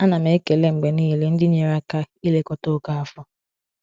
A na m ekele mgbe niile ndị nyere aka ilekọta Okafor.